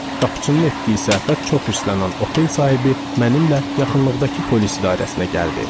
Qapıçının etdiyi səhvə çox hirslənən otel sahibi mənimlə yaxınlıqdakı polis idarəsinə gəldi.